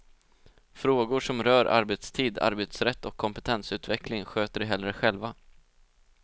Frågor som rör arbetstid, arbetsrätt och kompetensutveckling sköter de hellre själva.